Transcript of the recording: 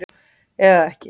Eða er það ekki?